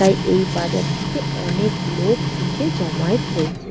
তাই এই বাজারটিতে অনেক লোক এসে জমায়েত হয়েছে।